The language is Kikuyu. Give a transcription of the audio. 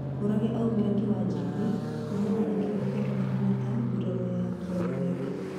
Mũrage aumire kĩwanjaine kuumana na kĩrĩa kionekanĩre ta nguraro ya kĩero gĩake